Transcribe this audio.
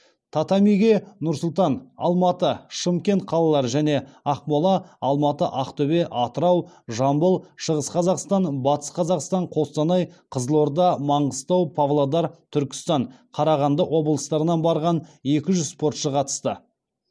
татамиге нұр сұлтан алматы шымкент қалалары және ақмола алматы ақтөбе атырау жамбыл шығыс қазақстан батыс қазақстан қостанай қызылорда маңғыстау павлодар түркістан қарағанды облыстарынан барған екі жүз спортшы қатысты